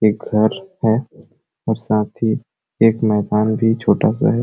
एक घर है और साथ ही एक मकान भी छोटा सा है।